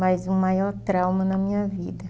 Mas o maior trauma na minha vida.